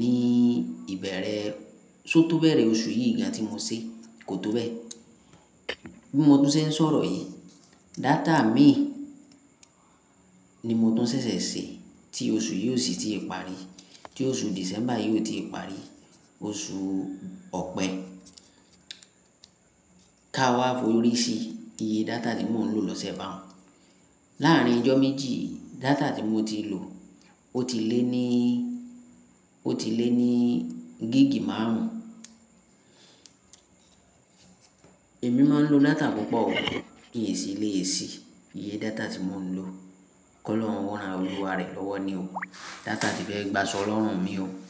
ní ìbẹ̀rẹ̀, só tó bẹ̀rẹ̀ oṣù yìí gan tí mo ṣe kó tó bẹ́ẹ̀. Bí mo ti ń ṣọ̀rọ̀ yìí, data mii ni mo tun ṣẹ̀ṣẹ̀ ṣe tí oṣù yìí ò sì ti parí, tí oṣù Dìsẹ́mbà yìí ò ti parí. Oṣù Ọ̀pẹ ka wá forí sí iye data tí mò ń lò lọ́sẹ̀ bá un. Láàárín ọjọ́ méjì, data tí mo ti lò ó ti lé ní, ó ti lé ní gíìgì márùn-ún. Èmi máa ń lo data púpọ̀ o, inṣí lée si iye data tí mò ń lò. Kọ́ lọ́hun wa ran olúwa rẹ lọ́wọ́ ni o. Data ti fẹ́ gba sọ lọ́rùn mi o.